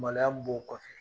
Maloya mun b'o kɔfɛ